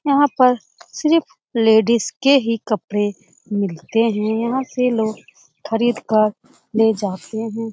यहाँ पर सिर्फ लेडीज के ही कपड़े मिलते हैं। यहाँ से लोग खरीद कर ले जाते हैं।